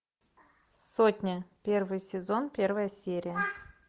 сотня первый сезон первая серия